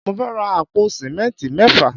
Mo fẹ́ ra àpò símẹ́ntì mẹ́fà